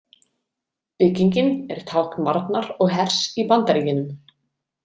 Byggingin er tákn varnar og hers í Bandaríkjunum.